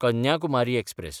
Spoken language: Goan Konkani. कन्याकुमारी एक्सप्रॅस